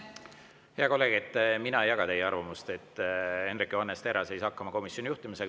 Hea kolleeg, mina ei jaga teie arvamust, et Hendrik Johannes Terras ei saa hakkama komisjoni juhtimisega.